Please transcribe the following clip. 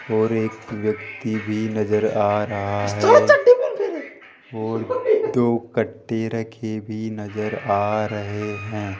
और एक व्यक्ति भी नजर आ रहा है और दो कट्टे रखे भी नजर आ रहे हैं।